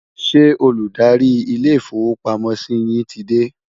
ṣé Olùdarí ilé ifowo pàmò sí yín tí dé?